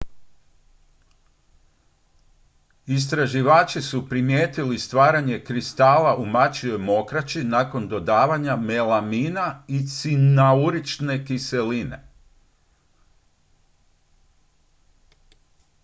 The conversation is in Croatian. istraživači su primijetili stvaranje kristala u mačjoj mokraći nakon dodavanja melamina i cianurične kiseline